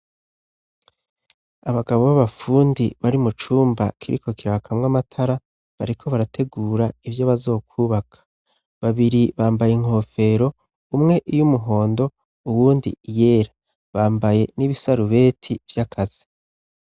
Abagabo b'abapfundi bari mu cumba kiriko kirakamwa amatara bareko barategura ivyo bazokwubaka babiri bambaye inkofero umwe iyo umuhondo uwundi iyera bambaye n'ibisarubeti vy'akazi.